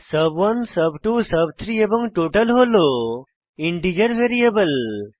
সুব1 সুব2 সুব3 এবং টোটাল হল ইন্টিজার ভ্যারিয়েবল